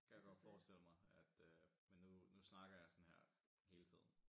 Kan jeg godt forestille mig at øh men nu nu snakker jeg sådan her hele tiden